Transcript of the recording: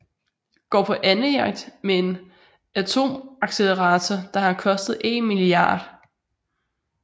Går på andejagt med en atomaccelerator der har kostet én milliard